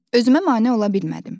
Özümə mane ola bilmədim.